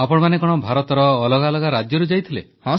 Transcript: ଆପଣମାନେ କଣ ଭାରତର ଅଲଗା ଅଲଗା ରାଜ୍ୟରୁ ଯାଇଥିଲେ